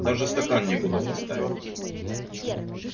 даже стакан некуда поставить